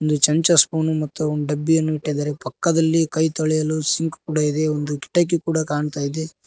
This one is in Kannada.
ಚಂಚ ಸ್ಫೂನು ಮತ್ತು ಒನ್ ಡಬ್ಬಿಯನ್ನು ಇಟ್ಟಿದಾರೆ ಪಕ್ಕದಲ್ಲಿ ಕೈ ತೊಳೆಯಲು ಸಿಂಕ್ ಕೂಡ ಇದೆ ಒಂದು ಕಿಟಕಿ ಕೂಡ ಕಾಣ್ತಾ ಇದೆ.